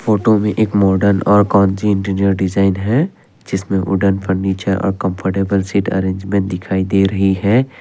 Photo में एक modern और कोंज़ी इंटीरियर डिज़ाइन है जिसमें वुडन फर्नीचर और कम्फर्टबल सीट अरेंजमेंट दिखाई दे रही है।